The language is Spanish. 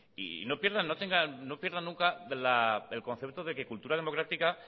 y no pierdan nunca el concepto de que cultura democrática